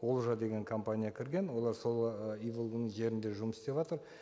олжа деген компания кірген олар сол ы иволганың жерінде жұмыс істеватыр